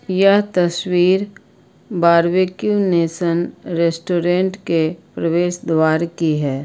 यह तस्वीर Barbeque Nation restaurant के प्रवेश द्वार की है।